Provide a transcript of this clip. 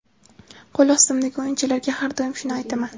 Qo‘l ostimdagi o‘yinchilarga har doim shuni aytaman.